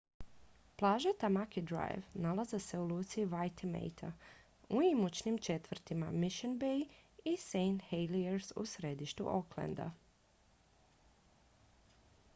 plaže tamaki drive nalaze se u luci waitemata u imućnim četvrtima mission bay i st heliers u središtu aucklanda